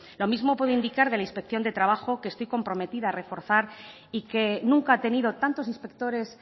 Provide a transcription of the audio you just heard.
lo mismo puede indicar de la inspección de trabajo que estoy comprometida a reforzar y que nunca ha tenido tantos inspectores